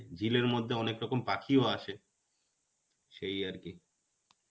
ঝিলের মধ্যে অনেকরকম পাখিও আসে. সেই আর কি.